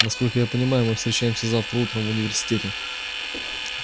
насколько я понимаю мы встречаемся завтра утром в университете